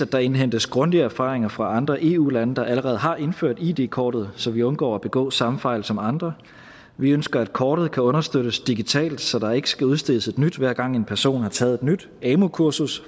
der indhentes grundige erfaringer fra andre eu lande der allerede har indført id kortet så vi undgår at begå samme fejl som andre vi ønsker at kortet kan understøttes digitalt så der ikke skal udstedes et nyt hver gang en person har taget et nyt amu kursus